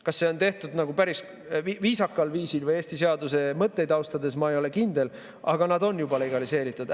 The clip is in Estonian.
Kas see on tehtud päris viisakal viisil või Eesti seaduse mõtteid austades, ma ei ole kindel, aga nad on juba legaliseeritud.